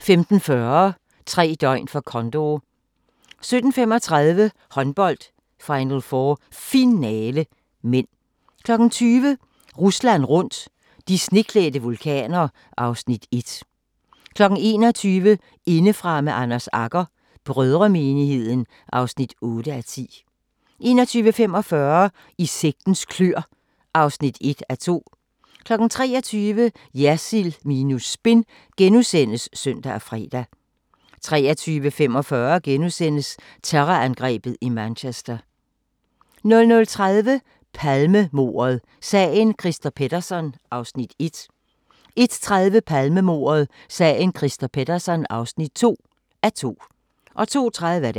15:40: Tre døgn for Condor 17:35: Håndbold: Final4 Finale (m) 20:00: Rusland rundt – de sneklædte vulkaner (Afs. 1) 21:00: Indefra med Anders Agger - brødremenigheden (8:10) 21:45: I sektens kløer (1:2) 23:00: Jersild minus spin *(søn og fre) 23:45: Terrorangrebet i Manchester * 00:30: Palmemordet: Sagen Christer Pettersson (1:2) 01:30: Palmemordet: Sagen Christer Pettersson (2:2) 02:30: